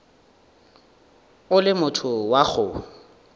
o le motho wa go